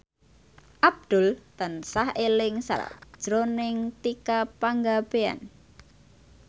Abdul tansah eling sakjroning Tika Pangabean